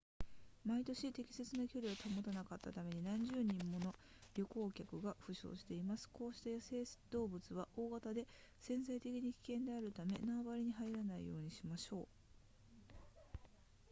毎年適切な距離を保たなかったために何十人もの旅行客が負傷していますこうした野生動物は大型で潜在的に危険であるため縄張りに入らないようにしましょう